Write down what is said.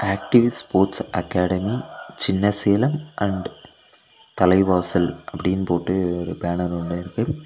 Active sports academy Chinnasalem and Thalaivasal அப்படினு போட்டு ஒரு பேனர் ஒன்னு இருக்கு.